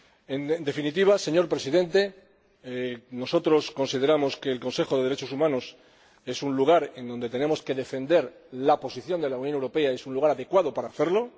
En definitiva, señor Presidente, nosotros consideramos que el Consejo de Derechos Humanos es un lugar donde tenemos que defender la posición de la Unión Europea y que es un lugar adecuado para hacerlo